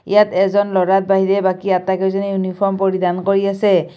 ইয়াত এজন ল'ৰাৰ বাহিৰে বাকী আটাইকেইজনীয়ে ইউনিফৰ্ম পৰিধান কৰি আছে।